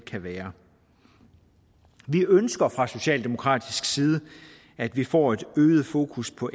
kan være vi ønsker fra socialdemokratisk side at vi får et øget fokus på